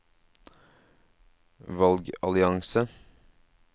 valgallianse